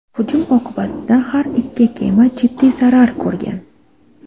Hujum oqibatida har ikki kema jiddiy zarar ko‘rgan.